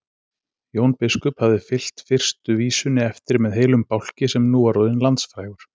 Jón biskup hafði fylgt fyrstu vísunni eftir með heilum bálki sem nú var orðinn landsfrægur.